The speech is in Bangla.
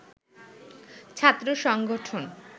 ছাত্র সংগঠন